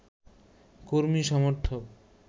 কর্মী সমর্থক